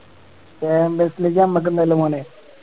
നമ്മക്ക് എന്തായിള്ള മോനെ